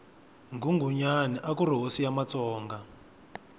nghunghunyani akuri hosi ya matsonga